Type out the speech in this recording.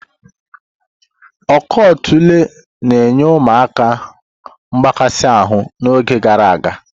Ọkọ̀ otula na nye ụmụaka mgbakasi ahụ n'oge gara aga.